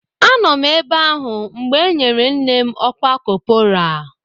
Anọ m ebe ahụ mgbe e nyere nne m ọkwa kọpọraa